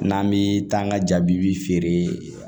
N'an bi taa an ka jabi bi feere